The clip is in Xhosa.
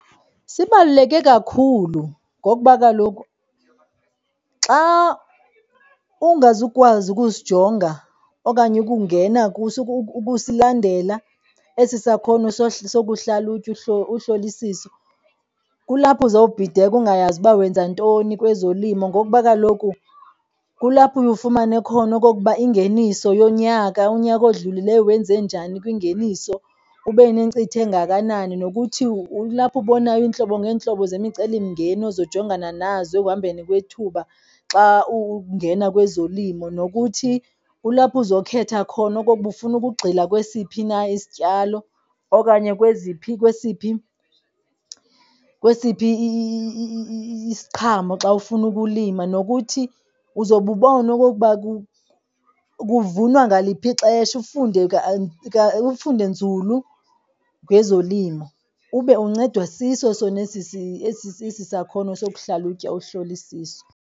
Sibaluleke kakhulu ngokuba kaloku xa ungazukwazi ukusijonga okanye ukungena kuso ukusilandela esi sakhono sokuhlalutya uhlolisiso, kulapho uzawubhideka ungayazi uba wenza ntoni kwezolimo ngokuba kaloku kulapho uye ufumane khona okokuba ingeniso yonyaka, unyaka odlulileyo wenze njani kwingeniso, ube nenkcitho engakanani. Nokuthi kulapho ubonayo iintlobo ngeentlobo zemicelimngeni ozojongana nazo ekuhambeni kwethuba xa ungena kwezolimo. Nokuthi ulapha uzawukhetha khona okokuba ufuna ukugxila kwesiphi na isityalo okanye kweziphi kwesiphi isiqhamo xa ufuna ukulima. Nokuthi uzobe ubona okokuba kuvunwa ngaliphi ixesha ufunde nzulu ngezolimo ube uncedwa siso sona esi sakhono sokuhlalutya uhlolisisa.